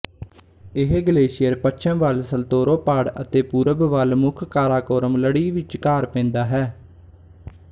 ਇਹ ਗਲੇਸ਼ੀਅਰ ਪੱਛਮ ਵੱਲ ਸਲਤੋਰੋ ਪਾੜ ਅਤੇ ਪੂਰਬ ਵੱਲ ਮੁੱਖ ਕਾਰਾਕੋਰਮ ਲੜੀ ਵਿਚਕਾਰ ਪੈਂਦਾ ਹੈ